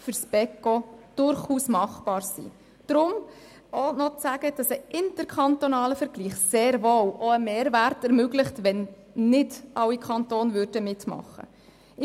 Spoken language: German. Ein interkantonaler Vergleich ermöglicht sehr wohl einen Mehrwert, auch wenn nicht alle Kantone mitmachen würden.